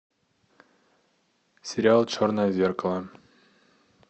сериал черное зеркало